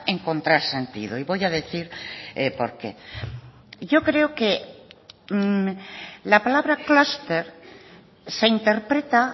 encontrar sentido y voy a decir por qué yo creo que la palabra clúster se interpreta